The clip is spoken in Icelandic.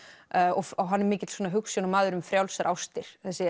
og hann er mikill hugsjónamaður um frjálsar ástir þessi